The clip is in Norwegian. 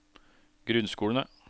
grunnskolene